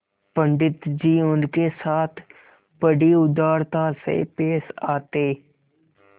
पंडित जी उनके साथ बड़ी उदारता से पेश आते